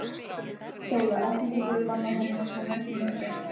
SÓLA: Ekki getum við bannað honum að koma í heimsókn.